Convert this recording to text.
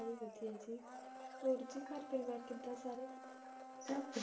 ਹੋਰ ਜੀ ਘਰ ਪਰੀਵਾਰ ਕਿੰਦਾ ਸਾਰੇ ਸੱਭ